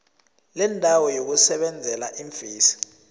lendawo yokusebenzela iimfesi